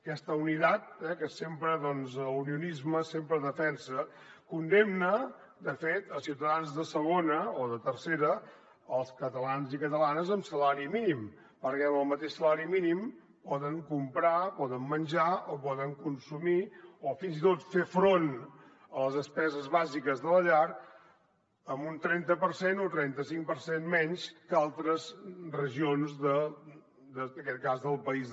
aquesta unidadciutadans de segona o de tercera els catalans i catalanes amb salari mínim perquè amb el mateix salari mínim poden comprar poden menjar o poden consumir o fins i tot fer front a les despeses bàsiques de la llar en un trenta per cent o trenta cinc per cent menys que altres regions en aquest cas del país